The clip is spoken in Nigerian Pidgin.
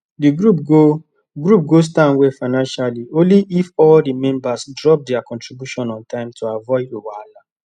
the group go group go stand well financially only if all the members drop their contribution on time to avoid wahala